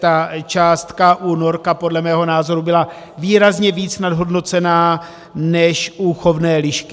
Ta částka u norka podle mého názoru byla výrazně víc nadhodnocena než u chovné lišky.